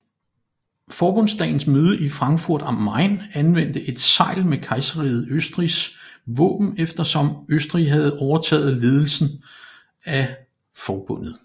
Forbundsdagens møde i Frankfurt am Main anvendte et segl med Kejserriget Østrigs våben eftersom Østrig havde overtaget ledelsen af forbundet